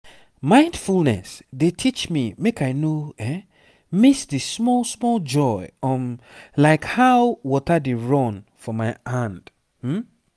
mindfulness dey teach me make i no miss the small-small joy um like how water dey run for my hand um